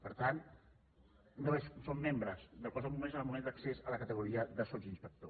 per tant no són membres del cos de bombers en el moment d’accés a la categoria de sotsinspector